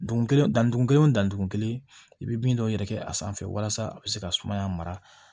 Dugu kelen da dugun kelen wo da dugun kelen i bi bin dɔw yɛrɛ kɛ a sanfɛ walasa a be se ka sumaya mara